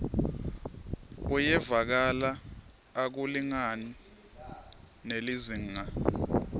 uyevakala akulingani nelizingaa